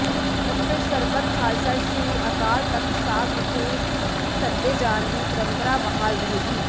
ਉਥੇ ਸਰਬੱਤ ਖਾਲਸਾ ਸ੍ਰੀ ਅਕਾਲ ਤਖਤ ਸਾਹਿਬ ਵਿਖੇ ਹੀ ਸੱਦੇ ਜਾਣ ਦੀ ਪ੍ਰੰਪਰਾ ਬਹਾਲ ਰਹੇਗੀ